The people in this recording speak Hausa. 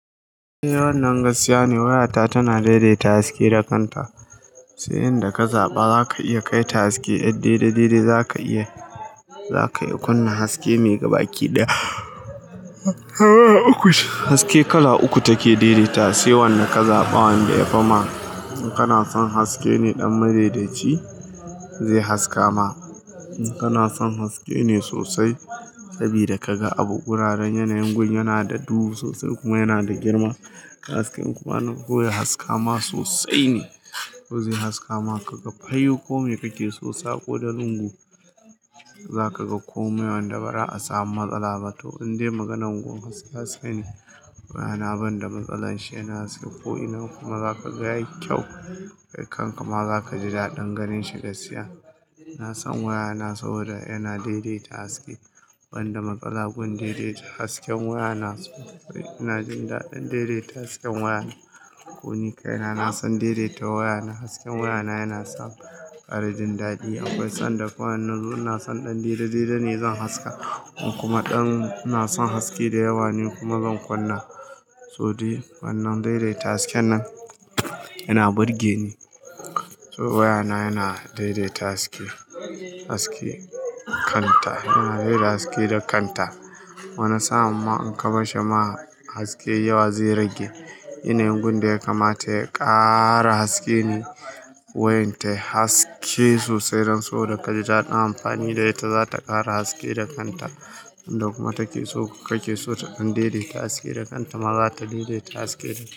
Eh wannan gaskiya ne, wayata tana daidaita haske da kanta. Sai inda ka zaɓa za ka iya kai ta haske. Idan dai dare za ka iya, za ka iya kunna haske mai gabaki da hawa uku. Haske kala uku take daidaita, sai wanda ka zaɓa wanda ya fi ma. In kana son haske ne ɗan madaidaci, zai haska ma. In kana son haske ne sosai sabida ka ga abu. Guraren yanayin gun yana da duhu sosai kuma yana da girma, hasken kuma ana soya haska ma sosai ne. Yau zai haska ma ka ga fayau komai kake so sa ko da lungu, za ka ga komai wanda bara a samu matsala ba. To in dai maganar gun gaskiya ce ne, waya na banda matsalar shi yana haska ko ina kuma za ka ga yayi kyau. Kai kanka ma za ka ji daɗin ganin shi gaskiya. Na san waya na saboda yana daidaita haske. Wanda matsala gun daidaita hasken waya na so. Ina jin daɗin daidaita hasken waya na. Ko ni kaina, na san daidaita waya na. Hasken waya na yana sani jin daɗi akwai sanda kuma nazo ina son ɗan daidai dare zan haska. In kuma ɗan ina son haske da yawa ne kuma zan kunna, to dai wannan daidaita haske nan yana burge ni. To waya na yana daidaita haske, haske kanta. Yana daidaita haske da kanta. Wana sa'an ma in kabarshi ma haske yawa zai rage. Yanayin gun da ya kamata ya ƙara haske ne wayan ta haske sosai don saboda ka ji daɗin amfani da ita, za ta ƙara haske da kanta. Inda kuma take so kake so ta dan daidaita haske da kanta ma za ta daidaita haske da kanta.